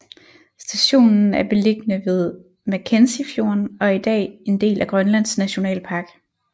Stationen er beliggende ved Mackenzie fjorden og er i dag er en del af Grønlands Nationalpark